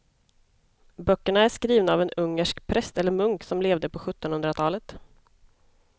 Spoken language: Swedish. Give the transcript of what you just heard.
Böckerna är skrivna av en ungersk präst eller munk som levde på sjuttonhundratalet.